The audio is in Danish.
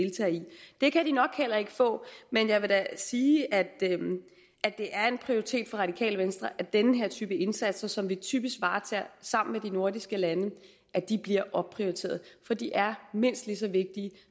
det kan de nok heller ikke få men jeg vil da sige at det er en prioritet for radikale venstre at den her type indsatser som vi typisk varetager sammen med de nordiske lande bliver opprioriteret for de er mindst lige så vigtige